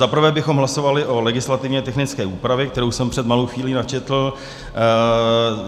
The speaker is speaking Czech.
Zaprvé bychom hlasovali o legislativně technické úpravě, kterou jsem před malou chvílí načetl.